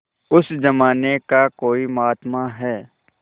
उस जमाने का कोई महात्मा है